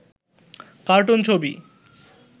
cartoon ছবি